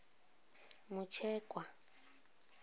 mutshekwa